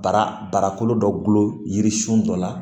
Bara barakolo dɔ yiririsun dɔ la